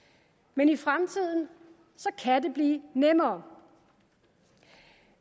men i fremtiden kan det blive nemmere